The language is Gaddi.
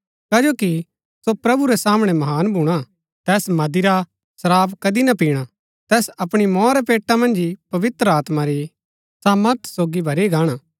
कजो कि सो प्रभु रै सामणै महान भूणा तैस मदिरा शराब कदी ना पिणा तैस अपणी मौआ रै पेटा मन्ज ही पवित्र आत्मा री सामर्थ सोगी भरी गाणा